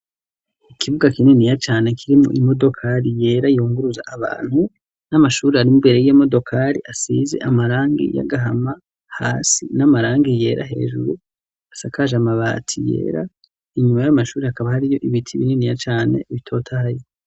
Ikibuga kininiya cane kirimwo imodokari yera yunguruza abantu n'amashuri ari mbere y'iyo modokari asizi amarangi y'agahama hasi n'amarangi yera hejuru asakaje amabati yera inyuma y'ayo mashuri hakaba hariyo ibiti bininiya cane bitotahaye.